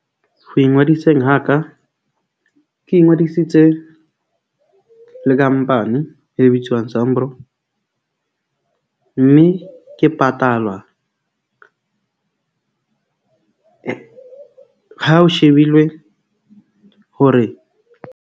Ho ingodiseng ha ka ke ingodisitse le company e bitswang SAMRO. Mme ke patalwa ha o shebilwe hore.